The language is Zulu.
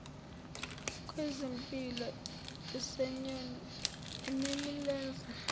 kwezimpiko zenyoni enemilenze